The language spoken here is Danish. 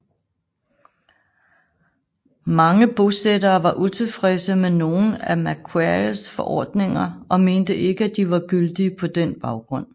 Mange bosættere var utilfredse med nogle af Macquaries forordninger og mente ikke at de var gyldige på den baggrund